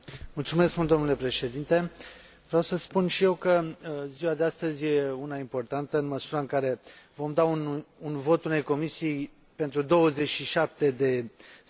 Vreau să spun și eu că ziua de astăzi e una importantă, întrucât vom acorda un vot unei Comisii pentru 27 de state membre, dar pentru o singură Europă.